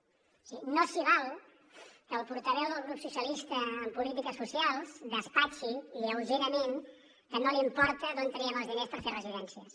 és a dir no s’hi val que el portaveu del grup socialistes en polítiques socials despatxi lleugerament que no li importa d’on traiem els diners per fer residències